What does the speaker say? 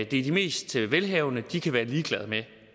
de mest velhavende kan være ligeglade med